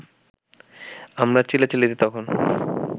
আমার চিল্লাচিল্লিতে তখন